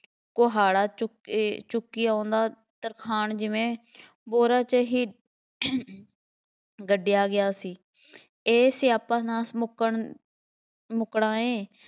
ਕੁਹਾੜਾ ਚੁੱਕ ਅਹ ਚੁੱਕੀ ਆਉਂਦਾ ਤਰਖਾਣ ਜਿਵੇਂ ਬੋਰਾ ਜਿਹੀ ਗੱਡਿਆ ਗਿਆ ਸੀ, ਇਹ ਸਿਆਪਾ ਨਾ ਮੁੱਕਣ, ਮੁੱਕਣਾ ਐਂ,